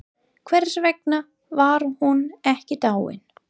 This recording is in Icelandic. Hvers vegna var hún ekki dáin?